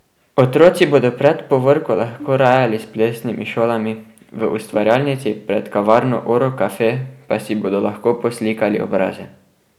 Otroci bodo pred povorko lahko rajali s plesnimi šolami, v ustvarjalnici pred kavarno Oro caffe pa si bodo lahko poslikali obraze.